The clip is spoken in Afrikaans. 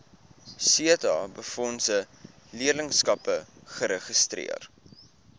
setabefondse leerlingskappe geregistreer